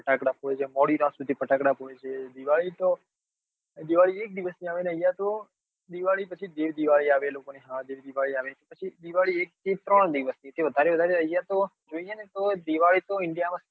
ફટાકડા ફોડે છે મોદી રાત સુધી ફટાકડા ફોડે છે દિવાળી તો દિવાળીદિવસ એક ની આવે અને અહિયાં તો દિવાળી પછી દેવ દિવાળી આવે લોકો ને હા દેવ દિવાળી પછી દિવાળી એક કે વધારે ત્રણ દિવસે એનાથી વધારે અહિયાં તો જોઈએ ને તો india માં સાત દિવસ